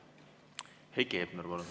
Heiki Hepner, palun!